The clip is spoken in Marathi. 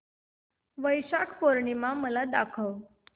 वैशाख पूर्णिमा मला दाखव